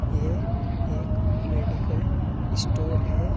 ये एक medical store है।